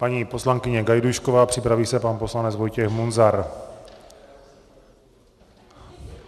Paní poslankyně Gajdůšková, připraví se pan poslanec Vojtěch Munzar.